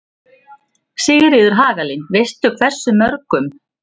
Sigríður Hagalín: Veistu hversu mörgum?